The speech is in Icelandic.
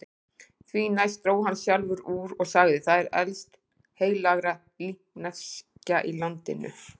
Því næst dró hann sjálfur úr og sagði:-Það er elst heilagra líkneskja í landinu.